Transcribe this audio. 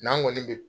N'an kɔni bɛ